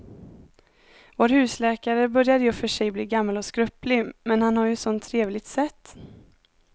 Vår husläkare börjar i och för sig bli gammal och skröplig, men han har ju ett sådant trevligt sätt!